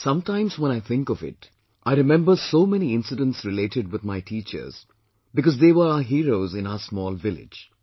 Some times when I think of it, I remember so many incidents related with my teachers because they were our heroes in our small village